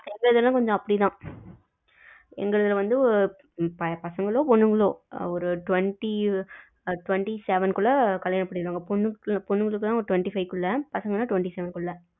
எங்க இதுல எல்லாம் அப்படி தான், எங்க இதுலவந்து பசங்களோ பொண்ணுகளோ ஒரு twenty twenty seven குள்ள கல்யாணம் பண்ணிக்குவாங்க, பொண்ணுக்களுக்கு தான் twenty five குள்ள பசங்கன்னா twenty seven குள்ள